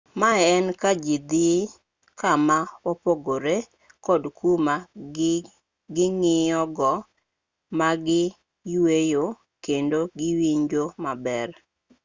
ma en kajii dhii kama opogoree kod kuma ging'iyogo magiyueye kendo giwinjoe maber